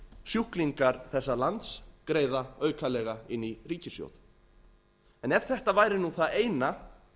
sjúklingar þessa lands greiða aukalega inn í ríkissjóð ef þetta væri nú það eina